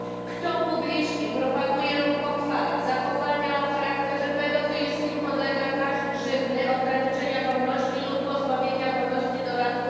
Kto publicznie propaguje lub pochwala zachowania o charakterze pedofilskim, podlega grzywnie, karze ograniczenia wolności albo pozbawienia wolności do lat